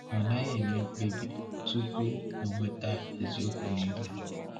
Ọ naghị eme mkpebi tupu ọ nweta eziokwu niile.